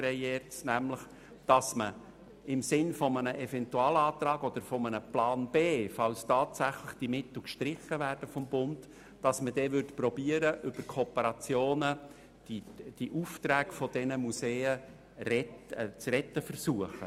Gemäss dieser würde man – im Sinne eines Eventualantrags oder eines Plans B, sollten diese Mittel seitens des Bundes tatsächlich gestrichen werden – versuchen, die Aufträge dieser Museen über Kooperationen zu retten.